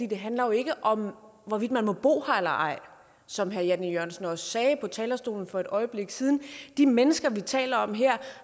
det handler jo ikke om hvorvidt man må bo her eller ej som herre jan e jørgensen også sagde på talerstolen for et øjeblik siden de mennesker vi taler om her